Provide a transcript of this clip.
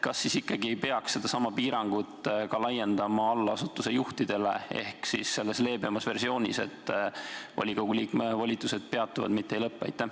Kas ikkagi ei peaks seda piirangut laiendama ka allasutuste juhtidele, tegema seda leebemas versioonis, et volikogu liikme volitused peatuvad, mitte ei lõpe?